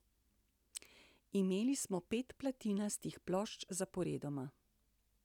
Imeli smo pet platinastih plošč zaporedoma.